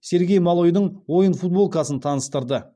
сергей малойдың ойын футболкасын таныстырды